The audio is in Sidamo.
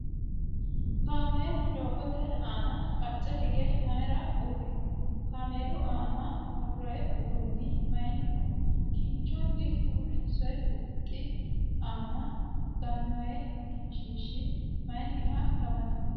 Kaamelu doogote aana qacce hige mayiira uurrino? Kaamelu aana worroyi uduunni mayiinniho? Kinchunni uurrinsoyi huxxi aana gannoyi egensiishshi mayiinniha lawannohe?